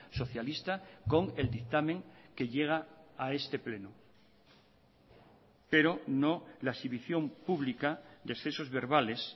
socialista con el dictamen que llega a este pleno pero no la exhibición pública de excesos verbales